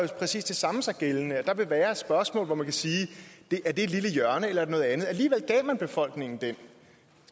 præcis det samme sig gældende nemlig at der vil være spørgsmål hvor man kan sige er det et lille hjørne eller noget andet alligevel gav man befolkningen den